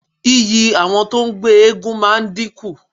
Iyì àwọn tó ń gbé eégún máa dínkù.